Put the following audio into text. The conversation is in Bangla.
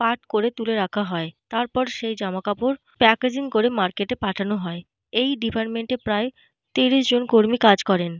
পাট করে তুলে রাখা হয়। তারপর সেই জামাকাপড় প্যাকেজিং করে মার্কেট এ পাঠানো হয়। এই ডিপার্টমেন্ট এ প্রায় তিরিশ জন কর্মী কাজ করেন।